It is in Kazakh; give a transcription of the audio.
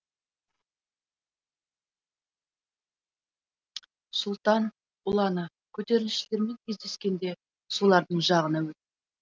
сұлтан ұланы көтерілісшілермен кездескенде солардың жағына өтті